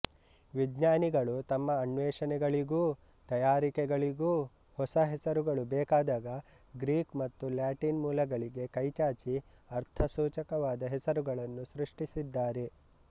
ವಿಜ್ಞಾನಿಗಳು ತಮ್ಮ ಅನ್ವೇಷಣೆಗಳಿಗೂ ತಯಾರಿಕೆಗಳಿಗೂ ಹೊಸ ಹೆಸರುಗಳು ಬೇಕಾದಾಗ ಗ್ರೀಕ್ ಮತ್ತು ಲ್ಯಾಟಿನ್ ಮೂಲಗಳಿಗೆ ಕೈಚಾಚಿ ಅರ್ಥಸೂಚಕವಾದ ಹೆಸರುಗಳನ್ನು ಸೃಷ್ಟಿಸಿದ್ದಾರೆ